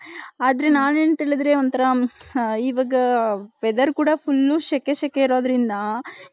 ಆದ್ರೆ ನನ್ ಒಂಥರಾ ಇವಾಗ weather ಕೂಡ full ಶೆಕೆ ಶೆಕೆ ಇರೋದ್ರಿಂದ .